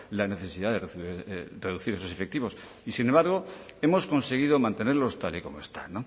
la necesidad de reducir esos efectivos y sin embargo hemos conseguido mantenerlos tal y como están